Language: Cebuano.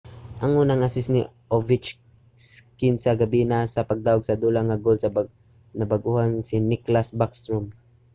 ang unang assist ni ovechkin sa gabii naa sa pagdaug-sa-dula nga goal sa bag-ohan nga si nicklas backstrom;